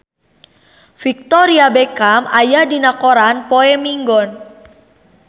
Victoria Beckham aya dina koran poe Minggon